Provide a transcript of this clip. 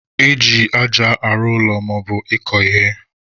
Eji aja arụ ụlọ maọbụ ịkọ ihe.